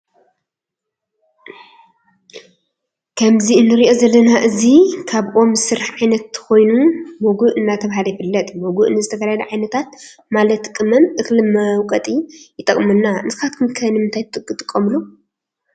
ከምዚ እንሪኦ ዘለና እዚ ካብ ኦም ዝስራሕ ዓይነት ኮይኑ ሞጎእ እናተባሀለ ይፍለጥ። ሞጎእ ንዝተፈላለዩ ዓየነታት ማለት ቅመም ፤እክሊ መውቀጢ ይጠቅመና። ንስካትኩም ከ ንምንታይ ትጥቀሙሉ?